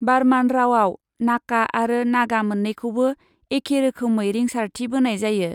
बार्मान रावआव नाका आरो नागा मोन्नैखौबो एखे रोखोमै रिंसारथि बोनाय जायो।